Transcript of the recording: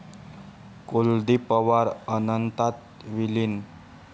कुलदीप पवार अनंतात विलीन